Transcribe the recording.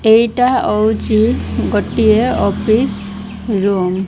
ଏଇଟା ଅଉଚି ଗୋଟିଏ ଅଫିସ୍ ରୁମ୍ ।